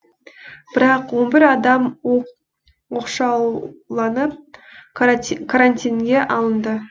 бірақ он бір адам оқшауланып карантинге алынды